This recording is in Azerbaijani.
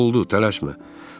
Oldu, tələşmə.